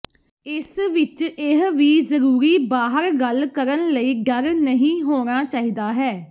ਇਸ ਵਿਚ ਇਹ ਵੀ ਜ਼ਰੂਰੀ ਬਾਹਰ ਗੱਲ ਕਰਨ ਲਈ ਡਰ ਨਹੀ ਹੋਣਾ ਚਾਹੀਦਾ ਹੈ